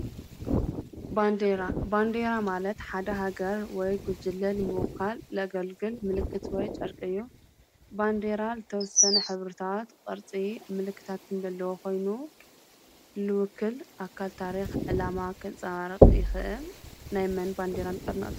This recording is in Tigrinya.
ባንደራ ባንዴራ ማለት ሓደ ሃገር ወይ ጕጅለል ምወካል ለገልግል ምልክትወይ ጨርቂዮ ባንዴራል ተወሠነ ኅብርታት ቕርፂ ምልክታትንደለዉ ኾይኑ ልውክል ኣካል ታሪኽ ዕላማ ኸንፃባርቕ ይኽእ ናይ መን ባንዴራን ጠርነት?